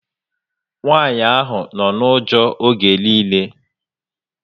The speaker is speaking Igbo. Nwanyị ahụ nọ na ụjọ oge nille